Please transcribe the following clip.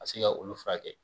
Ka se ka olu furakɛ kɛ.